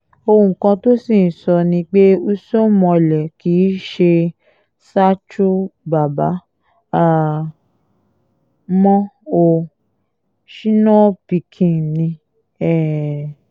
ohun kan tó sì ń sọ ni pé usoomhole kì í ṣe sacho bàbá um mọ́ o shino pikin ni um